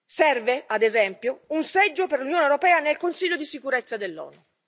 Serve, ad esempio, un seggio per l'Unione europea nel Consiglio di sicurezza dell'Onu.